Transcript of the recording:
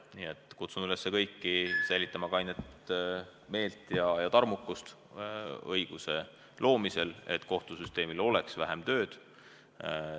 Nii et kutsun üles kõiki säilitama kainet meelt ja tarmukust õiguse loomisel, et kohtusüsteemil oleks vähem tööd.